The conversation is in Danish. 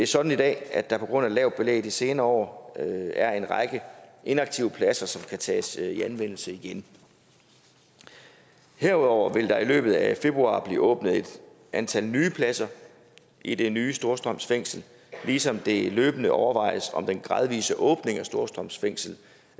sådan i dag at der på grund af et lavt belæg de senere år er en række inaktive pladser som kan tages i anvendelse igen herudover vil der i løbet af februar blive åbnet et antal nye pladser i det nye storstrøm fængsel ligesom det løbende overvejes om den gradvise åbning af storstrøm fængsel